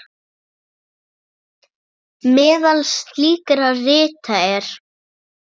Meðal slíkra rita er